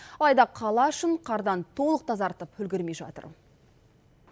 алайда қала ішін қардан толық тазартып үлгермей жатыр